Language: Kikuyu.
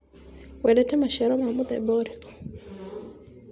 Wendete maciaro ma mũthemba ũrĩkũ.